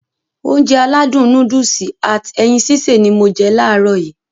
Ounjẹ aládùn nóódùsì at ẹyin sísè ni mo je làárọ̀ yii